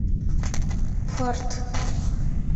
фарт